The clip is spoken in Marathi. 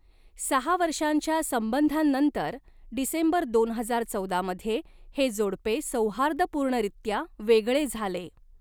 सहा वर्षांच्या संबंधांनंतर डिसेंबर दोन हजार चौदा मध्ये हे जोडपे सौहार्दपूर्णरित्या वेगळे झाले.